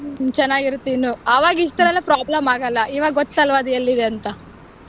ಹ್ಮ್ ಚೆನ್ನಾಗಿರುತ್ತೆ ಇನ್ನೂ ಆವಾಗ ಇಷ್ಟೆಲ್ಲಾ problem ಆಗಲ್ಲ ಇವಾಗ ಗೊತ್ತಲ್ವ ಎಲ್ಲಿದೆ ಅಂತ.